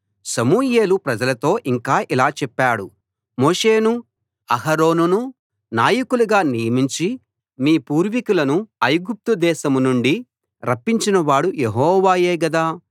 సమూయేలు ప్రజలతో ఇంకా ఇలా చెప్పాడు మోషేను అహరోనును నాయకులుగా నియమించి మీ పూర్వీకులను ఐగుప్తు దేశం నుండి రప్పించినవాడు యెహోవాయే గదా